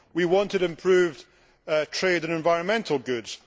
We wanted improved trade in environmental goods.